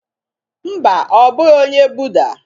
Mba, ọ bụghị onye Buddha